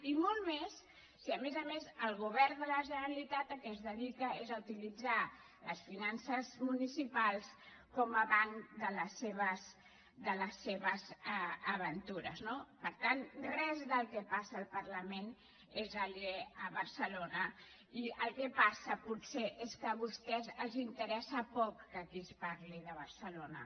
i molt més si a més a més el govern de la generalitat al que es dedica és a utilitzar les finances municipals com a banc de les seves aventures no per tant res del que passa al parlament és aliè a barcelona i el que passa potser és que a vostès els interessa poc que aquí es parli de barcelona